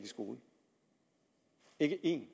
i skole ikke ét